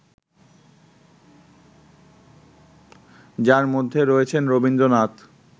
যার মধ্যে রয়েছেন রবীন্দ্রনাথ